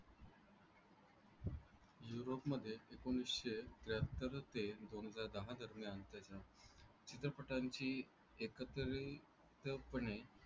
युरोपमध्ये एकोणीसशे त्र्याहत्तर ते दोन हजार दहा दरम्यान त्याच्या चित्रपटांची एकत्रितपणे